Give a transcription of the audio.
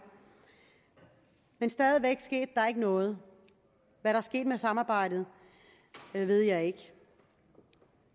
men stadig væk skete der ikke noget hvad der skete med samarbejdet ved jeg ikke